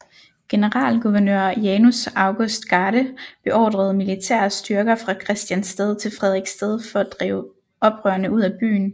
Generalguvernør Janus August Garde beordrede militære styrker fra Christiansted til Frederiksted for at drive oprørerne ud af byen